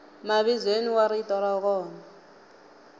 mavizweni wa rito ra kona